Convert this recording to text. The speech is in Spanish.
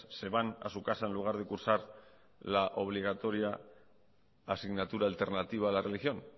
se van a su casa en lugar de cursar la obligatoria asignatura alternativa a la religión